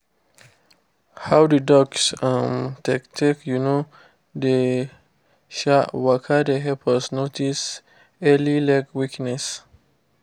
how the ducks um take take um dey um waka dey help us notice any early leg weakness